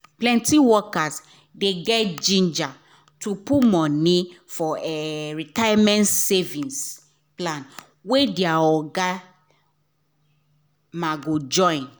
plenty workers dey get ginger to put money for retirement savings plan wey their oga ma go join